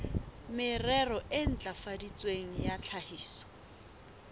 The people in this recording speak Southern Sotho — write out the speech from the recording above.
merero e ntlafaditsweng ya tlhahiso